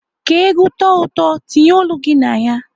Ka ègwú tọọ ụtọ, tinye olu gị na ya.